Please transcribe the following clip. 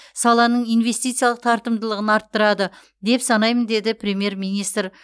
саланың инвестициялық тартымдылығын арттырады деп санаймын деді премьер министр